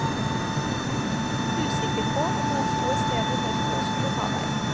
Usikker på om noen sto et sted imørket og skulle ta deg.